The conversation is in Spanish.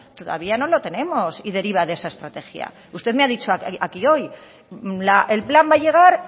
todavía no lo tenemos y deriva de esa estrategia usted me ha dicho aquí hoy el plan va a llegar